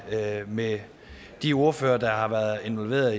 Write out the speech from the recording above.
med de ordførere der har været involveret